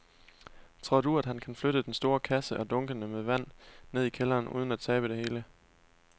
Tror du, at han kan flytte den store kasse og dunkene med vand ned i kælderen uden at tabe det hele?